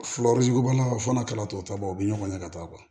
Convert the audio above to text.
fana kalatɔ taba o bɛ ɲɔgɔn na ka taa